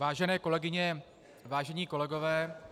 Vážené kolegyně, vážení kolegové -